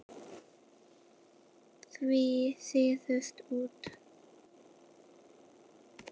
Svíf síðust út.